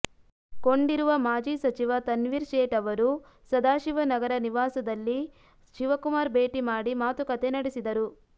ಕೊಂಡಿರುವ ಮಾಜಿ ಸಚಿವ ತನ್ವೀರ್ ಸೇಠ್ ಅವರು ಸದಾಶಿವನಗರ ನಿವಾಸದಲ್ಲಿ ಶಿವಕುಮಾರ್ ಭೇಟಿ ಮಾಡಿ ಮಾತುಕತೆ ನಡೆಸಿದರು